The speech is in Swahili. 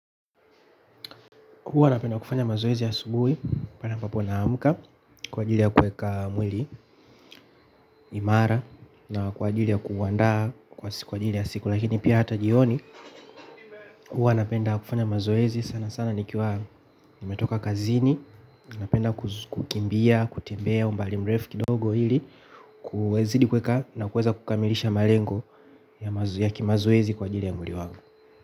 Huwa napenda kufanya mazoezi asubuhi, pale ambapo naamka, kwa ajili ya kuweka mwili, imara na kwa ajili ya kuandaa, kwa ajili ya siku, lakini pia hata jioni. Huwa napenda kufanya mazoezi sana sana nikiwa nimetoka kazini, napenda kukimbia, kutembea, umbali mrefu kidogo ili, kuzidi kuweka na kuweza kukamilisha malengo ya kimazoezi kwa ajili ya mwili wangu.